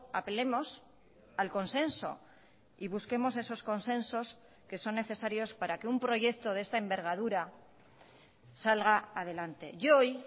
apelemos al consenso y busquemos esos consensos que son necesarios para que un proyecto de esta envergadura salga adelante y hoy